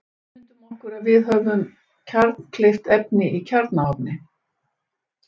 Ímyndum okkur að við höfum kjarnkleyft efni í kjarnaofni.